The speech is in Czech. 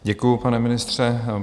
Děkuji, pane ministře.